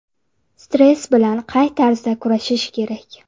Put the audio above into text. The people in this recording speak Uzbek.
Stress bilan qay tarzda kurashish kerak?